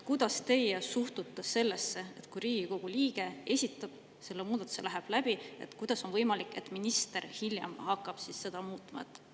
Kuidas teie suhtute sellesse võimalusse, et Riigikogu liige esitab selle muudatuse ja see läheb läbi, aga minister hakkab hiljem seda muutma?